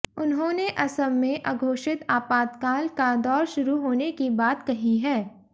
उन्होंने असम में अघोषित आपातकाल का दौर शुरू होने की बात कही है